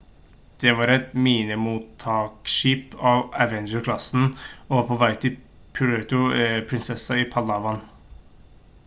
det var et minemottiltaksskip av avenger-klassen og var på vei til puerto princesa i palawan